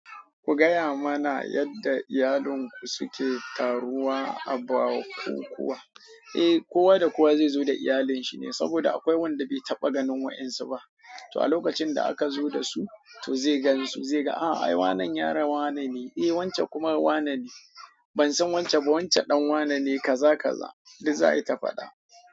Ku gaya mana yadda iyalin ku suke taruwa a bukukuwa. Eh, kowa da kowa zai zo da iyalinsa ne saboda akwai wanda bai taɓa ganin wa'insu ba. Toh a lokacin da aka zo da su to zai gan su zai ga ai wanne yaron wane ne e wancan kuma wane ne. Ban san wancan ba, wancan ɗan wanane." Kaza kaza, duk za a yi ta fa ɗa.